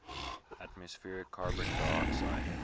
atmospheric carbon dioxide